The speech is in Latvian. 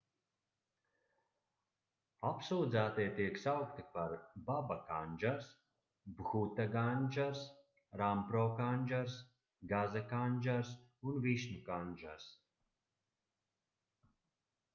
apsūdzētie tiek saukti par baba kandžars bhuta kandžars rampro kandžars gaza kandžars un višnu kandžars